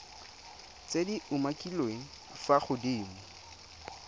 tse di umakiliweng fa godimo